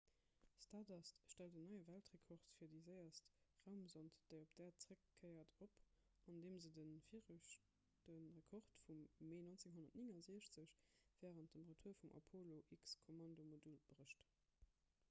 stardust stellt en neie weltrekord fir déi séierst raumsond déi op d'äerd zeréckkéiert op andeem se de viregte rekord vum mee 1969 wärend dem retour vum apollo-x-kommandomodul brécht